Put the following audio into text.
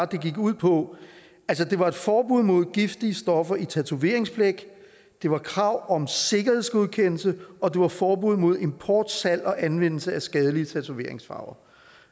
det gik ud på det var et forbud mod giftige stoffer i tatoveringsblæk det var krav om sikkerhedsgodkendelse og det var forbud mod import salg og anvendelse af skadelige tatoveringsfarver